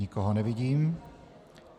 Nikoho nevidím.